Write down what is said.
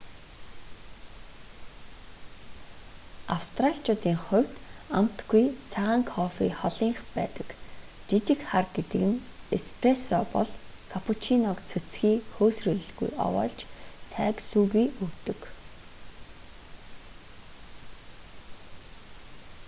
австраличуудын хувьд амтгүй цагаан кофе холынх байдаг. жижиг хар гэдэг нь эспрессо бол каппучиног цөцгий хөөсрүүлэлгүй овоолж цайг сүүгүй өгдөг